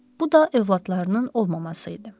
Bu da övladlarının olmaması idi.